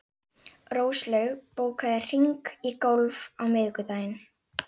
Róslaug, bókaðu hring í golf á miðvikudaginn.